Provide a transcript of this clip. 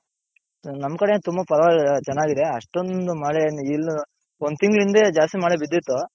ನಮ್ ಕಡೆ ತುಂಬಾ ಪರವಾಗಿಲ್ಲ ಚೆನ್ನಾಗಿದೆ ಅಷ್ಟೊಂದ್ ಮಳೆ ಏನ್ ಇಲ್ಲಾ ಒಂದ್ ತಿಂಗಳಿoದೆ ಜಾಸ್ತಿ ಮಳೆ ಬಿದಿತ್ತು.